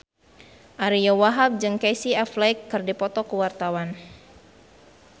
Ariyo Wahab jeung Casey Affleck keur dipoto ku wartawan